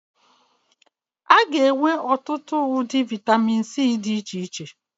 A ga-enwe ọtụtụ ụdị mbadamba vitamin C ọhụrụ.